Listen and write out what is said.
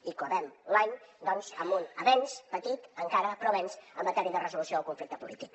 i acabem l’any doncs amb un avenç petit encara però avenç en matèria de resolució del conflicte polític